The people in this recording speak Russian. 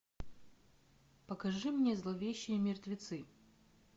покажи мне зловещие мертвецы